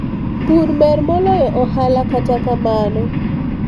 pur ber moloyo ohala kata kamano